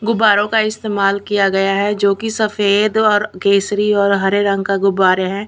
गुब्बारों का इस्तेमाल किया गया है जो की सफेद और केसरी और हरे रंग का गुब्बारे हैं।